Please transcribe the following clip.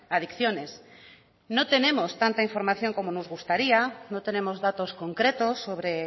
adicciones no tenemos tanta información como nos gustaría no tenemos datos concretos sobre